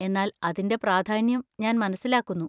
എന്നാൽ അതിന്‍റെ പ്രാധാന്യം ഞാൻ മനസ്സിലാക്കുന്നു.